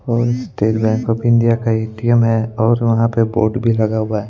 और State Bank of India का ATM है और वहाँ पे बोर्ड भी लगा हुआ है।